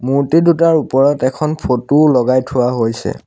মূৰ্তিদুটাৰ ওপৰত এখন ফটো ও লগাই থোৱা হৈছে।